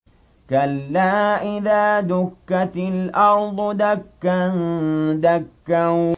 كَلَّا إِذَا دُكَّتِ الْأَرْضُ دَكًّا دَكًّا